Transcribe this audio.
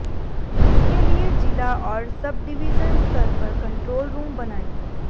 इसके लिए जिला और सब डिवीजन स्तर पर कंट्रोल रूम बनाएं